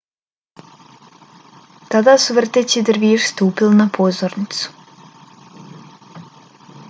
tada su vrteći derviši stupili na pozornicu